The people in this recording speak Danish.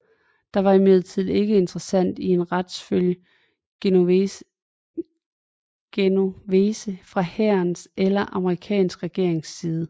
Der var imidlertid ikke interesse i at retsforfølge Genovese fra hærens eller den amerikanske regerings side